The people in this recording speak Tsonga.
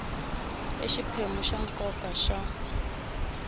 i xiphemu xa nkoka xa